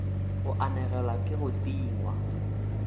go anegelwa ke go tingwa